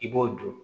I b'o don